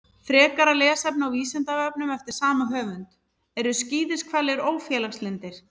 Frekara lesefni á Vísindavefnum eftir sama höfund: Eru skíðishvalir ófélagslyndir?